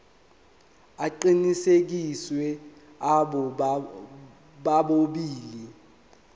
aqinisekisiwe abo bobabili